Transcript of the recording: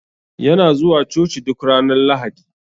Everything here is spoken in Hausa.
Yana zuwa coci duk Ranar lahadi.